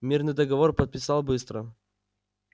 мирный договор подписал быстро